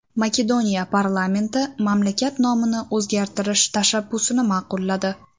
Makedoniya parlamenti mamlakat nomini o‘zgartirish tashabbusini ma’qulladi.